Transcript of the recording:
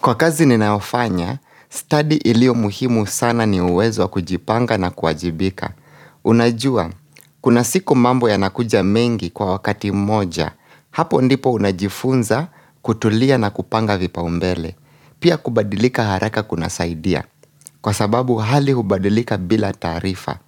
Kwa kazi ninayofanya, study ilio muhimu sana ni uwezo kujipanga na kuajibika. Unajua, kuna siku mambo ya nakuja mengi kwa wakati moja, hapo ndipo unajifunza kutulia na kupanga vipaumbele. Pia kubadilika haraka kuna saidia, kwa sababu hali hubadilika bila tarifa.